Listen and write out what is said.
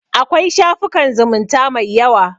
Akwai shafukan zumunta mai yawa.